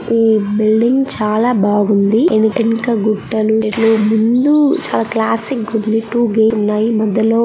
ఈ బిల్డింగ్ చాలా బాగుంది యనకేనక గుట్టలు ఇట్లు ముందు చాలా క్లాసిక్ గా-- .